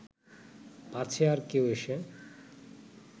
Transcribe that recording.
পাছে আর কেউ এসে